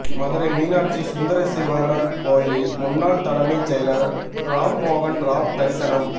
மதுரை மீனாட்சி சுந்தரேசுவரா் கோயிலில் முன்னாள் தலைமைச் செயலா் ராம்மோகன் ராவ் தரிசனம்